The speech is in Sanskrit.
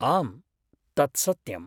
आम्, तत् सत्यम्।